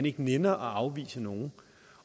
ikke nænner at afvise nogen